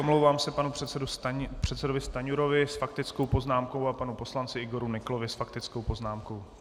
Omlouvám se panu předsedovi Stanjurovi s faktickou poznámkou a panu poslanci Igoru Nyklovi s faktickou poznámkou.